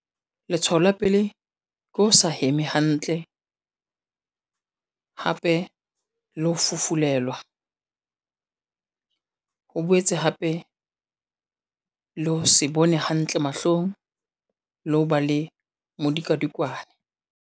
Letshwao la pele, ke ho sa heme hantle, hape le ho fufulelwa, ho boetse hape le ho se bone hantle mahlong, le ho ba le medikadikwane.